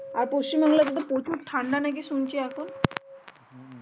আর পশ্চিম বাংলাতে তো ঠান্ডা নাকি শুনছি এখন